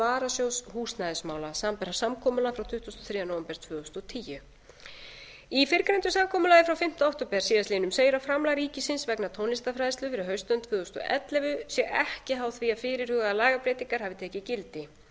varasjóðs húsnæðismála samanber samkomulag frá tuttugasta og þriðja nóvember tvö þúsund og tíu í fyrrgreindu samkomulagi frá fimmta október síðastliðinn segir að framlag ríkisins vegna tónlistarfræðslu fyrir haustönn tvö þúsund og ellefu sé ekki háð því að fyrirhugaðar lagabreytingar hafi tekið gildi